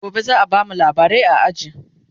gobe zaa bamu labarai a aji